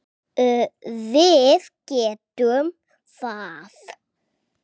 Við getum það.